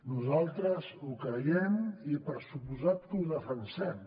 nosaltres ho creiem i per descomptat que ho defensem